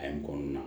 A ye kɔnɔna